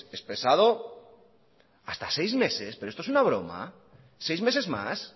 expresado hasta seis meses pero esto es una broma seis meses más